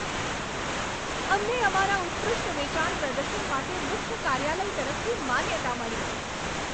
અમને અમારા ઉત્કૃષ્ટ વેચાણ પ્રદર્શન માટે મુખ્ય કાર્યાલય તરફથી માન્યતા મળી.